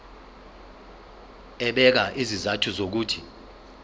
ebeka izizathu zokuthi